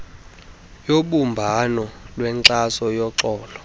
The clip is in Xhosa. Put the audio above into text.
yobumbano lwenkxaso yoxolo